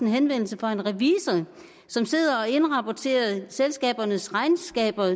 henvendelse fra en revisor som sidder og indrapporterer selskabernes regnskaber